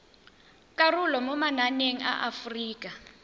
karolo mo mananeng a aforika